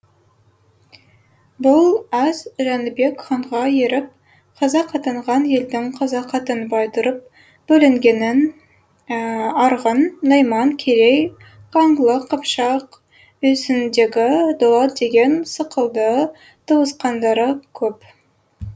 бұл әз жәнібек ханға еріп қазақ атанған елдің қазақ атанбай тұрып бөлінгенін арғын найман керей қаңлы қыпшақ үйсіндегі дулат деген сықылды туысқандары көп